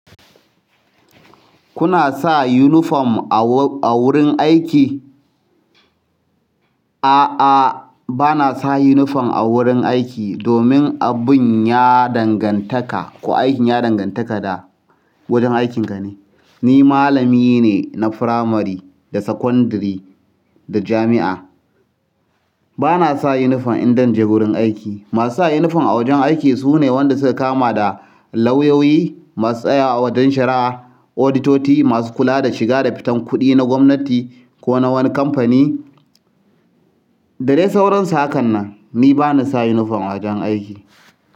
Kuna sa uniform a wurin aiki? A'a, bana sa uniform a wurin aiki domin abin ya dangantaka ko aikin ya dangantaka da wajen aikinka ne. Ni malami ne na firamare da sakandare da jami'a. Bana sa uniform in dan je wurin aiki. Masu sa uniform a wajen aiki su ne wanda suka kama da lauyoyi masu tsaya a wajen shari'a, auditoti masu kula da shiga da fitan kuɗi na gwamnati ko na wani kamfani. Dadai sauran su hakan nan, ni bani sa uniform a wajen aiki.